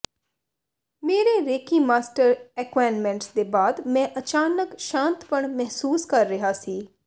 ਮੇਰੇ reiki master attunements ਦੇ ਬਾਅਦ ਮੈਂ ਅਚਾਨਕ ਸ਼ਾਂਤਪਣ ਮਹਿਸੂਸ ਕਰ ਰਿਹਾ ਸੀ